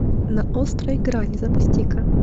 на острой грани запусти ка